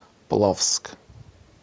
плавск